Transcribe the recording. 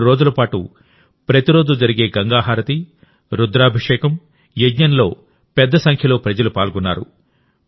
మూడు రోజుల పాటు ప్రతిరోజూ జరిగే గంగా హారతి రుద్రాభిషేకం యజ్ఞంలో పెద్ద సంఖ్యలో ప్రజలు పాల్గొన్నారు